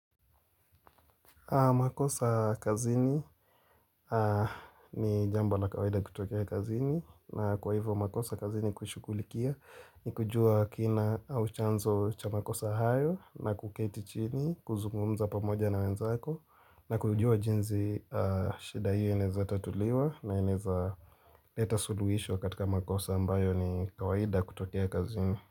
Makosa kazini ni jambo la kawaida kutokea kazini na kwa hivyo makosa kazini kushughulikia ni kujua kina au chanzo cha makosa hayo na kuketi chini kuzungumza pamoja na wenzako na kujua jinsi shida hii inaezatatuliwa na inaeza leta suluhisho katika makosa ambayo ni kawaida kutokea kazini.